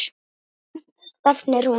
Hversu langt stefnir hún?